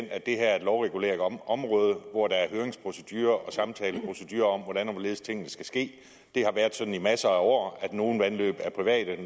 at det her er et lovreguleret område hvor der er høringsprocedurer og samtaleprocedurer om hvordan og hvorledes tingene skal ske det har været sådan i masser af år at nogle vandløb er private og at